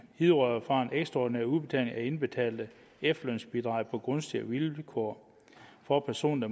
hidrører fra en ekstraordinær udbetaling af indbetalte efterlønsbidrag på gunstigere vilkår for personer